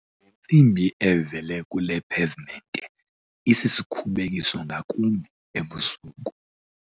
Le ntsimbi evele kule pevimente isisikhubekiso ngakumbi ebusuku.